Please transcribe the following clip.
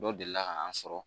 Dɔ deli ka an sɔrɔ